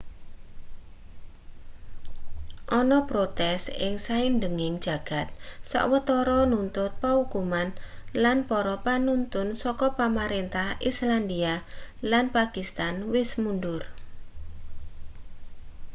ana protes ing saindenging jagad sawetara nuntut paukuman lan para panuntun saka pamarentah islandia lan pakistan wis mundur